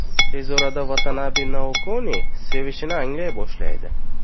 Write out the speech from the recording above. Tez orada Vatanabe Naokoni sevishini anglay boshlaydi.